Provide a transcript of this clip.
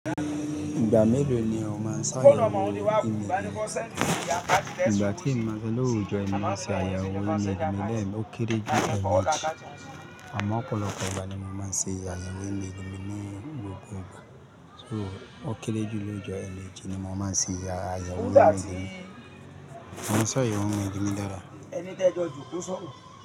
Ìgbà mélòó ni ó máa ń ṣàyẹ̀wò email mi? Ìgbà tí n máa ṣe ló woo jo ni máa ṣe àyẹ̀wò email mi lẹ́ẹ̀, ó kéré jù lemeji Àmọ́ ọ̀pọ̀lọpọ̀ ìgbà ni mo máa ń ṣe ayẹ̀wò email mi ní gbogbo ìgbà. So ó kéré jù lójo ẹ̀meji máa ń ṣe àyẹ̀wò email mi. Mo máa ń ṣàyẹ̀wò email mi dàda.